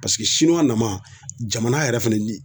Paseke nama jamana yɛrɛ fɛnɛ ni